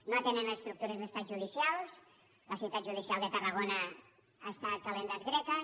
no atenen les estructures d’estat judicials la ciutat judicial de tarragona està ad kalendas graecas